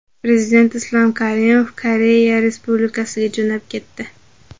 Prezident Islom Karimov Koreya Respublikasiga jo‘nab ketdi.